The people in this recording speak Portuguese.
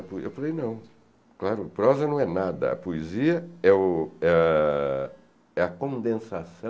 Eu falei, não, claro, prosa não é nada, a poesia é o ãh é a condensação